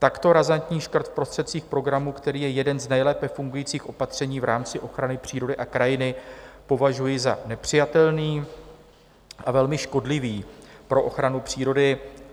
Takto razantní škrt v prostředcích programu, který je jedním z nejlépe fungujících opatření v rámci ochrany přírody a krajiny, považuji za nepřijatelný a velmi škodlivý pro ochranu přírody.